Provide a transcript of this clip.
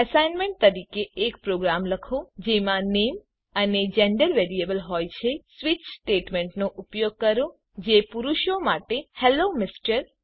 assignment તરીકે એક program લખો જેમાં નામે અને જેન્ડર વેરિયેબલ હોય છે સ્વીચ સ્ટેટમેન્ટનો ઉપયોગ કરો જે પુરુષો માટે હેલ્લો એમઆર